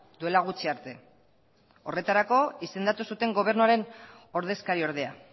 duela gutxi arte horretarako izendatu zuten gobernuaren ordezkari ordea